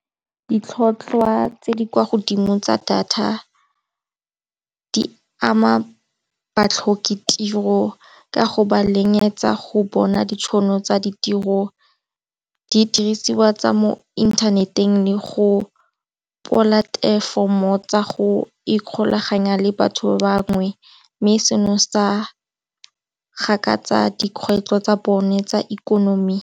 Ditlhotlhwa tse di kwa godimo tsa data di ama batlhokatiro ka go ba lekanyetsa go bona ditšhono tsa ditiro, didiriswa tsa mo inthaneteng le go polatefomo tsa go ikgolaganya le batho bangwe, mme seno sa gakatsa dikgwetlho tsa bone tsa ikonomi.